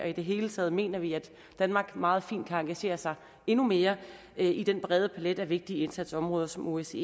i det hele taget mener vi at danmark meget fint kan engagere sig endnu mere i den brede palet af vigtige indsatsområder som osce